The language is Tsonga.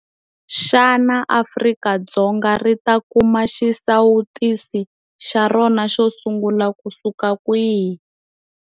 Xana Afrika-Dzonga ri ta kuma xisawutisi xa rona xo sungula kusuka kwihi?